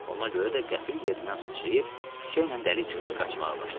Ona görə də qəfil yerindən sıçrayıb küçəylə dəli kimi qaçmağa başladım.